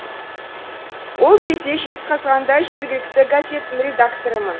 ол кезде жезқазғанда жергілікті газеттің редакторымын